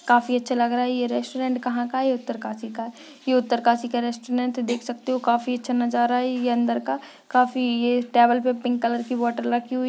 काफी अच्छा लग रहा है ये रेस्टोरेंट कहा का है ये उत्तरकाशी का है ये उत्तरकाशी का रेस्टोरेंट देख सकते हो काफी अच्छा नजारा है ये अंदर का काफी ये टैबल पे पिंक कलर की बॉटल रखी हुई --